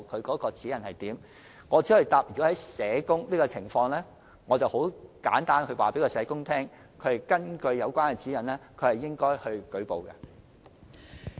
我只可以回答，就社工的情況而言，簡單來說，根據有關指引是應該作出舉報的。